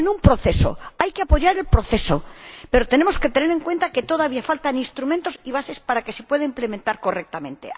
Estamos en un proceso, hay que apoyar el proceso, pero tenemos que tener en cuenta que todavía faltan instrumentos y bases para que se pueda implementar correctamente.